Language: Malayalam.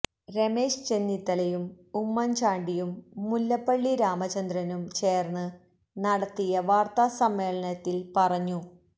രമേശ് ചെന്നിത്തലയും ഉമ്മന്ചാണ്ടിയും മുല്ലപ്പള്ളി രാമചന്ദ്രനും ചേര്ന്ന് നടത്തിയ വാര്ത്താസമ്മേളനത്തില് പറഞ്ഞു